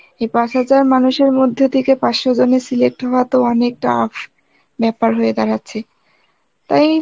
এই পাঁচ হাজার মানুষের মধ্যে থেকে পাঁচশ জনের select হওয়া তো অনেক tough ব্যাপার হয়ে দাঁড়াচ্ছে তাই